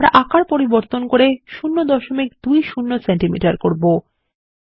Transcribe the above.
আমরা আকার পরিবর্তন করব 020 সিএম করব